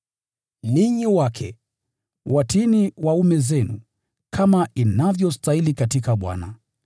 Ninyi wake, watiini waume zenu, kama inavyostahili katika Bwana.